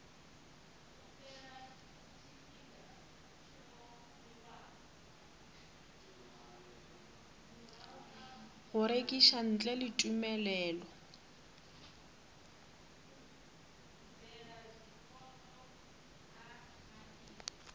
go rekiša ntle le tumelelo